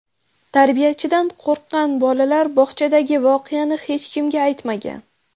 Tarbiyachidan qo‘rqqan bolalar bog‘chadagi voqeani hech kimga aytmagan.